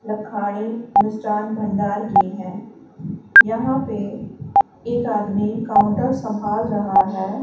लखानी मिष्ठान भंडार की है यहां पे एक आदमी काउंटर संभाल रहा है।